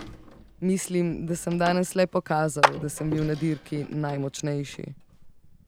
Mislim, da sem danes le pokazal, da sem bil na dirki najmočnejši.